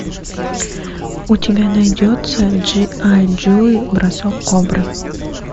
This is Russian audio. у тебя найдется джи ай джо бросок кобры